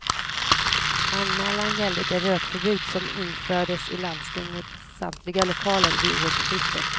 Anmälan gäller det rökförbud som infördes i landstingets samtliga lokaler vid årsskiftet.